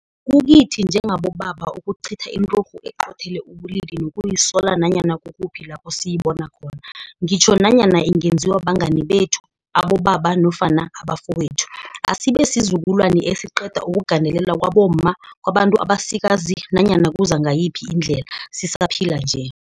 Kukithi njengamadoda ukucitha inturhu eqothele ubulili nokuyisola nanyana kukuphi lapho siyibona khona, ngitjho nanyana ingenziwa bangani bethu, abobaba nofana abafowethu. Asibe sizukulwani esiqeda ukugandelelwa kwabomma, kwabantu abasikazi nanyana kuza ngayiphi indlela, sisaphila nje.